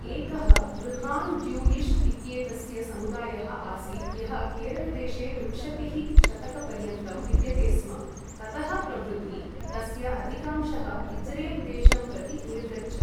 एकः बृहान् ज्यूयिश् इत्येतस्य समुदायः आसीत् यः केरलदेशे विंशतिः शतकपर्यन्तं विद्यते स्म, ततः प्रभृति तस्य अधिकांशः इज्रेल् देशं प्रति निर्गच्छत्।